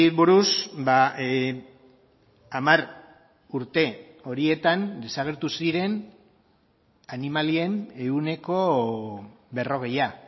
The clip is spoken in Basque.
buruz hamar urte horietan desagertu ziren animalien ehuneko berrogeia